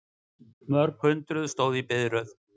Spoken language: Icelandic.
Mörg hundruð stóðu í biðröð